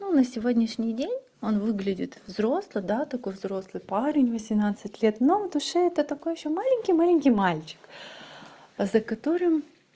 ну на сегодняшний день он выглядит взрослый да такой взрослый парень восемнадцать лет но в душе это такой ещё маленький маленький мальчик за которым